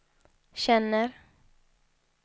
känner